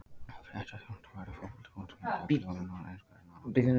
Fréttaþjónusta verður á Fótbolti.net öll jólin eins og hvern annan dag ársins.